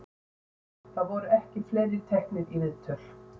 Það voru ekki fleiri teknir í viðtöl.